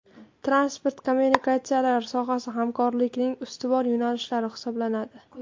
Transport kommunikatsiyalari sohasi hamkorlikning ustuvor yo‘nalishlari hisoblanadi.